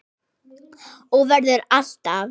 Og verður alltaf.